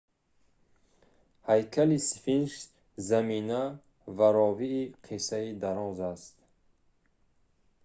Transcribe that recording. ҳайкали сфинкс замина ва ровии қиссаи дароз аст